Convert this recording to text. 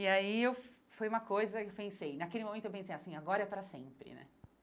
E aí eu foi uma coisa que eu pensei, naquele momento eu pensei assim, agora é para sempre, né?